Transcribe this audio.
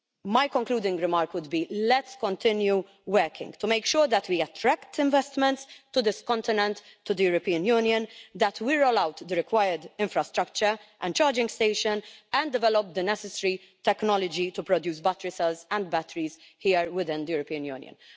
My concluding remark would be, let's continue working to make sure that we attract investments to this continent, to the European Union, that we roll out the required infrastructure and charging stations and develop the necessary technology to produce battery cells and batteries here within the European Union.